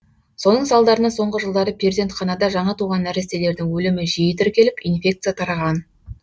соның салдарынан соңғы жылдары перзентханада жаңа туған нәрестелердің өлімі жиі тіркеліп инфекция тараған